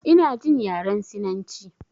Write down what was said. Ina jin yaren sinanci